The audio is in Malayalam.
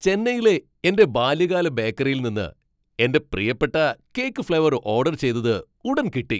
ചെന്നൈയിലെ എന്റെ ബാല്യകാല ബേക്കറിയിൽ നിന്ന് എന്റെ പ്രിയപ്പെട്ട കേക്ക് ഫ്ലേവർ ഓഡർ ചെയ്തത് ഉടൻ കിട്ടി.